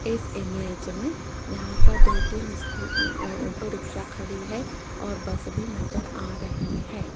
इस इमेज में यहां पर दो तीन स्कू अह ऑटो रिक्शा खड़ी है और बस भी नजर आ रही है।